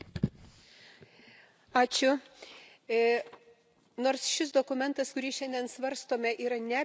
Nors šis dokumentas, kurį šiandien svarstome, yra ne apie Kiniją, bet aš kalbėsiu apie Kiniją kaip vieną ryškiausių pavyzdžių.